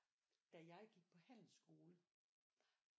Da jeg gik på handelsskole